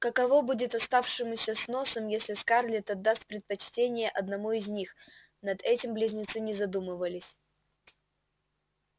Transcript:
каково будет оставшемуся с носом если скарлетт отдаст предпочтение одному из них над этим близнецы не задумывались